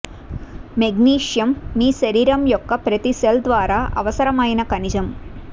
magnesium మీ శరీరం యొక్క ప్రతి సెల్ ద్వారా అవసరమైన ఖనిజం